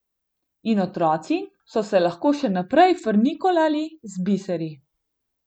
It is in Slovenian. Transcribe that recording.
In otroci so se lahko še naprej frnikolali z biseri.